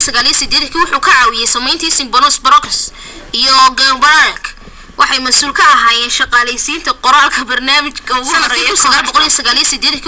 gacanta iyo lugta danyeerka chimpanzee-ga ayaa isku mid ka ah weynaanta iyo dheerarkaba oo muujinayso u isticmaalka gacanta qaaditaanka culeyska iyo ku socodkaba